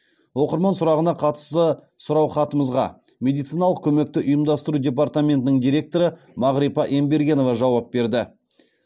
оқырман сұрағына қатысты сұраухатымызға медициналық көмекті ұйымдастыру департаментінің директоры мағрипа ембергенова жауап берді